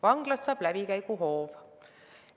Vanglast saab läbikäiguhoov.